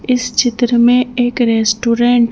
इस चित्र में एक रेस्टोरेंट --